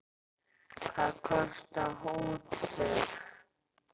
Hvað kostar útför?